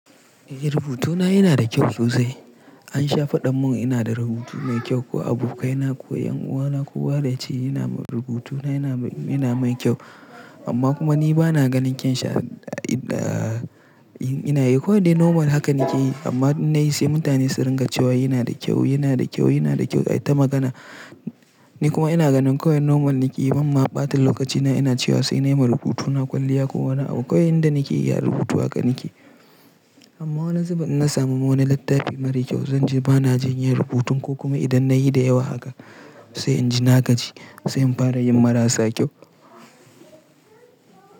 Eh rubutuna yana da kyau sosai. An sha faɗa mun ina da rubutu mai kyau ko abokai na ko 'yanuwa na ko wa yace yana rubutuna yana mai kyau amma kuma ni bana ganin kyan shi ina yi. Ko dai normal haka nake yi amma na yi sai mutane su ringa cewa yana da kyau, yana da kyau, yana da kyau ai ta magana. Ni kuma ina ganin kawai normal nake yi bamma ɓata lokaci na ina cewa sai na yi ma rubutuna kwalliya ko wani abu. Kawai inda nake ya rubutu haka nake. Amma wani zubin in na samu wani littafi mara kyau zan je bana jin yin rubutun ko kuma idan na yi da yawa haka sai inji na gaji sai in fara yin marasa kyau.